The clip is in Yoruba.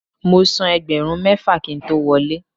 Mo san ẹgbẹ̀rún mẹ́fà kí n tó wọlé.